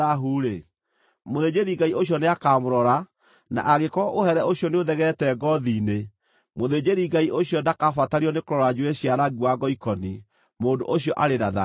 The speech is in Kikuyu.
mũthĩnjĩri-Ngai ũcio nĩakamũrora na angĩkorwo ũhere ũcio nĩũthegeete ngoothi-inĩ, mũthĩnjĩri-Ngai ũcio ndakabatario nĩkũrora njuĩrĩ cia rangi wa ngoikoni; mũndũ ũcio arĩ na thaahu.